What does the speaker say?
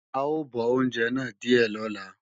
À ó bọ oúnjẹ náà díè lọ́la